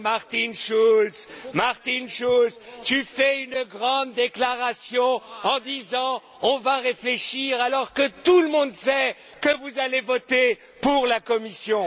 Martin Schulz, tu fais une grande déclaration en disant on va réfléchir, alors que tout le monde sait que vous allez voter pour la Commission.